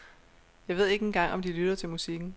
Jeg ved ikke engang om de lytter til musikken.